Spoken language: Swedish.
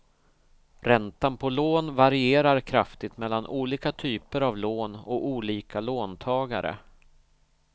Räntan på lån varierar kraftigt mellan olika typer av lån och olika låntagare.